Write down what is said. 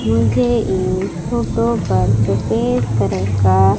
मुझे इस फोटो पर सफेद कलर का--